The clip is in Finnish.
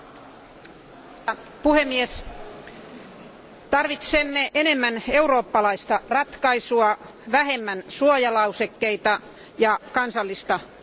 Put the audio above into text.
Arvoisa puhemies, tarvitsemme enemmän eurooppalaista ratkaisua, vähemmän suojalausekkeita ja kansallista itsekkyyttä.